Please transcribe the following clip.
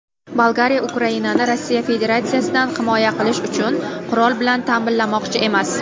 Bolgariya Ukrainani Rossiya Federatsiyasidan himoya qilish uchun qurol bilan ta’minlamoqchi emas.